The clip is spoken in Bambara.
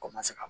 Ko ma se ka